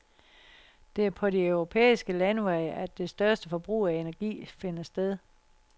Det er på de europæiske landeveje at det største forbrug af energi finder sted.